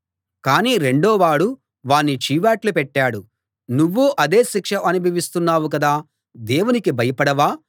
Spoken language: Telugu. కాని రెండోవాడు వాణ్ణి చీవాట్లు పెట్టాడు నువ్వూ అదే శిక్ష అనుభవిస్తున్నావు కదా దేవునికి భయపడవా